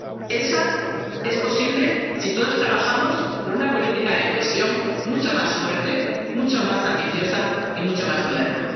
Esa Europa es posible si todos trabajamos por una política de cohesión mucho más fuerte, mucho más ambiciosa y mucho más moderna.